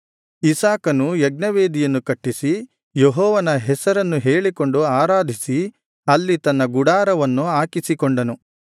ಇಸಾಕನು ಯಜ್ಞವೇದಿಯನ್ನು ಕಟ್ಟಿಸಿ ಯೆಹೋವನ ಹೆಸರನ್ನು ಹೇಳಿಕೊಂಡು ಆರಾಧಿಸಿ ಅಲ್ಲಿ ತನ್ನ ಗುಡಾರವನ್ನು ಹಾಕಿಸಿಕೊಂಡನು